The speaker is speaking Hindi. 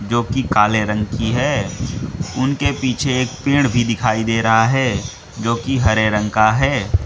जो की काले रंग की हैं उनके पीछे एक पेड़ भी दिखाई दे रहा है जो की हरे रंग का है।